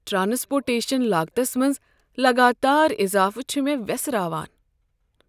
Transportation لاگتس منٛز لگاتار اضافہٕ چھ مےٚ ویسراوان۔